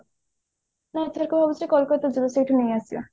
ମୁଁ ଏଥରକ ଭାବିଛି କୋଲକତା ଜୀବି ସେଇଠୁ ନେଇଆସିବା